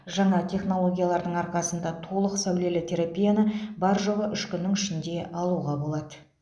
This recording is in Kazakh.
жаңа технологиялардың арқасында толық сәулелі терапияны бар жоғы үш күннің ішінде алуға болады